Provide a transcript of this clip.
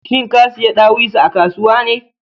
Shin ka siya ɗawisu a kasuwa ne?